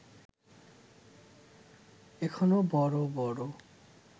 এখনো বড় বড়